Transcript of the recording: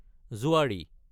জোৱাৰী